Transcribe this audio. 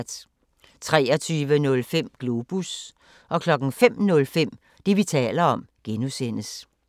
23:05: Globus 05:05: Det, vi taler om (G)